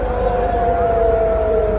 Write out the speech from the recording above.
Əşhədü ən la ilahə illallah.